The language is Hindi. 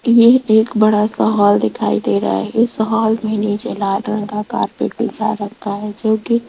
ये एक बड़ा सा हॉल दिखाई दे रहा है इस हॉल के नीचे लाल रंग का कारपेट बिछा रखा है जो की --